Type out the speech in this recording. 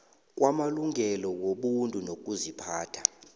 kwamalungelo wobuntu nokuziphatha